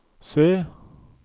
se